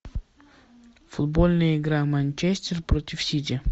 футбольная игра манчестер против сити